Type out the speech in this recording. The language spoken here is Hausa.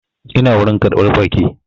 Ina wurin ƙarɓar baƙi